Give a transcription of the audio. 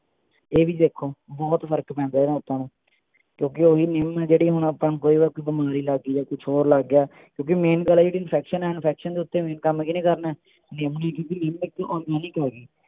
ਇਹੀ ਦੇਖੋ ਬਹੁਤ ਕਿਓਂਕਿ ਨਿੱਮ ਨੂੰ ਜਿਹੜੇ ਜਾਂ ਕੁਛ ਹੋਰ ਲੱਗ ਗਿਆ ਕਿਓਂਕਿ main ਗੱਲ ਇਹ ਕਿ infection ਹੈ infection ਦੇ ਉੱਤੇ ਕੰਮ ਕੀਹਨੇ ਕਰਨੇ ਨਿੱਮ ਨੇ ਕਿਓਂਕਿ ਨਿੱਮ ਇਕ organic ਹੈਗੀ